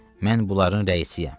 Mən bunların rəisiyəm.